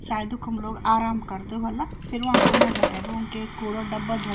शायद ऊखम लोग आराम करदा वह्ला फिर वका उणे भेटेक एक कुडा डब्बा ध --